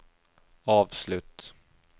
avslutt